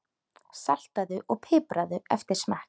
Saltaðu og pipraðu eftir smekk.